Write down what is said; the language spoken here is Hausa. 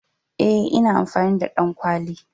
Eh ina amfani da ɗankwali.